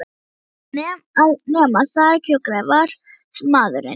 Hún neitaði að nema staðar kjökraði varðmaðurinn.